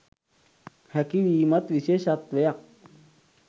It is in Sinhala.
හැකි වීමත් විශේෂත්වයක්.